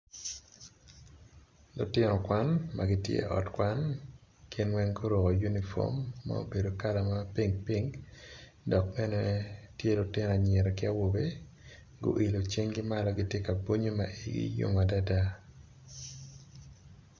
Lutino kwan magi tye i ot kwan gin weng guruko uniform ma obedo kala ma pink pink dok bene tye lutino anyira ki awobe guyilo cinggi malo magitye ka bunyo ma i yigi yom adada.